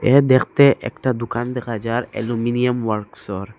এ দেখতে একটা দোকান দেখা যার অ্যালুমিনিয়াম ওয়ার্কশর।